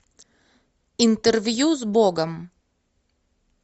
интервью с богом